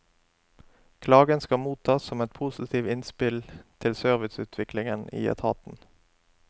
Klagen skal mottas som et positivt innspill til serviceutviklingen i etaten.